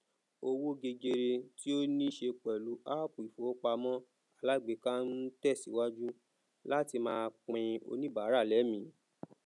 owó gegere tí o ni se pẹlú appu ifowopamọ alágbèéká n tẹsiwaju láti máa pin oníbàrà lẹmí